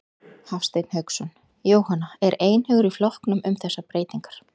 Hafsteinn Hauksson: Jóhanna, er einhugur í flokknum um þessar breytingar?